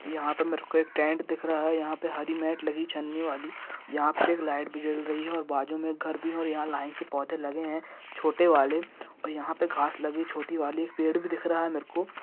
यहाँ पे मेरे को एक टेंट दिख रहा है यहाँ पे हरी म्याट लगी चन्नीवाली यहाँ पे एक लाइट भी जल रही है और बाजु में एक घर भी और यहाँ पे लाइन से पौधे लगे है छोटेवाले और यहाँ पे घास लगी है छोटीवाली और एक पेड़ भी दिख रहा है मेरे को।